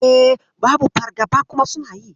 E, babu fargaba kuma suna yi.